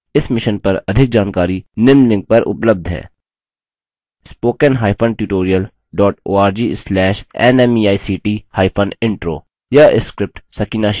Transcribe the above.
इस mission पर अधिक जानकारी निम्न लिंक पर उपलब्ध है